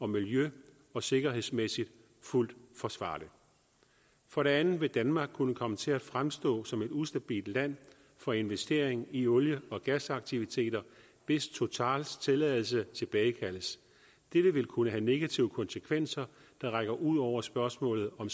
miljø og sikkerhedsmæssigt fuldt forsvarligt for det andet vil danmark kunne komme til at fremstå som et ustabilt land for investering i olie og gasaktiviteter hvis totals tilladelse tilbagekaldes dette vil kunne have negative konsekvenser der rækker ud over spørgsmålet om